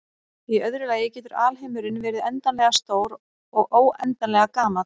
Í öðru lagi getur alheimurinn verið endanlega stór og óendanlega gamall.